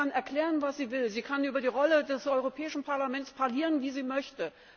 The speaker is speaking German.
Frau Merkel kann erklären, was sie will. Sie kann über die Rolle des Europäischen Parlaments parlieren, wie sie möchte.